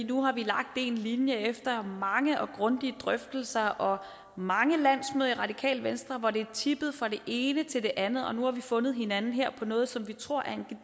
nu har vi lagt en linje efter mange grundige drøftelser og mange landsmøder i radikale venstre hvor det er tippet fra det ene til det andet og nu har vi fundet hinanden her i noget som vi tror er